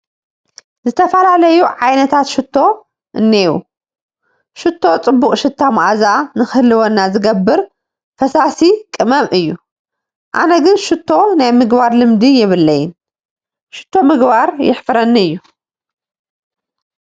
ዝተፈላለዩ ዓይነታት ሽቶ እኔዉ፡፡ ሽቶ ፅቡቕ ሽታ መዓዛ ንክህልወና ዝገብር ፈሳሲ ቅመም እዩ፡፡ ኣነ ግን ሽቶ ናይ ምግባር ልምዲ የብለይን፡፡ ሽቶ ምግባር የሕፍረኒ እዩ፡፡